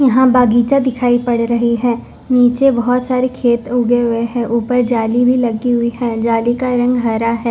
यहां बागीचा दिखाई पड़ रही है नीचे बहोत सारे खेत उगे हुए है ऊपर जाली भी लगी हुई है जाली का रंग हरा है।